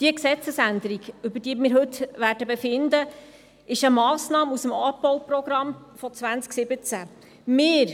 Die Gesetzesänderung, über die wir heute befinden werden, ist eine Massnahme aus dem Abbauprogramm von 2017.